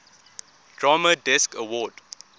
drama desk award